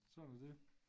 Sådan er det